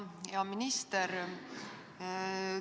Hea minister!